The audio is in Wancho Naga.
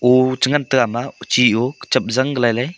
o chengan taiga ama chiou kachap galailey.